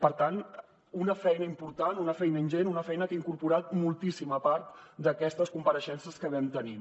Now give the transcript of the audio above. per tant una feina important una feina ingent una feina que ha incorporat moltíssima part d’aquestes compareixences que vam tenir